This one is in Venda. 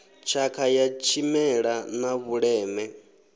tshakha ya tshimela na vhuleme